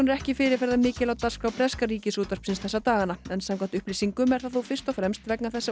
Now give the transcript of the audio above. ekki fyrirferðarmikil í dagskrá breska Ríkisútvarpsins þessa dagana en samkvæmt upplýsingum er það þó fyrst og fremst vegna þess að